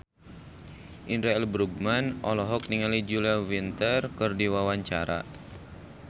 Indra L. Bruggman olohok ningali Julia Winter keur diwawancara